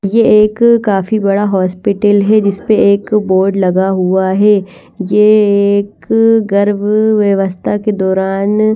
ये एक काफी बड़ा हॉस्पिटल है जिसपे एक बोर्ड लगा हुआ है ये एक गर्भ व्यवस्था के दौरान --